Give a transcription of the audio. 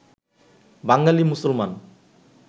বাঙালী মুসলমান